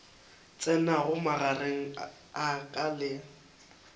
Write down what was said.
tsenago magareng a ka le